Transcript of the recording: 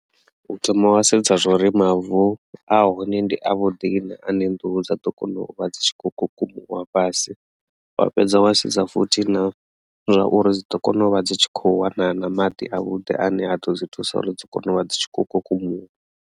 U thoma wa sedza zwa uri mavu a hone ndi a vhuḓi na ane nḓuhu dza ḓo kona u vha dzi tshi kho kukumuwa fhasi wa fhedza wa sedza futhi na zwauri dzi ḓo kona u vha dzi tshi kho wana na maḓi a vhuḓi ane a ḓo dzi thusa uri dzi kone u vha dzi tshi kho kukumuwa.